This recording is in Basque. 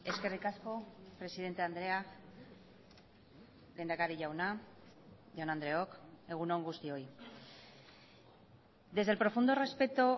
eskerrik asko presidente andrea lehendakari jauna jaun andreok egun on guztioi desde el profundo respeto